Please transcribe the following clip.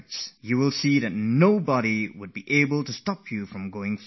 If you were to do that, none would be able to stop you from moving ahead